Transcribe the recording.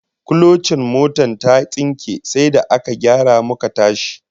Kulocin motar ya tsinke sai da aka gyara muka tashi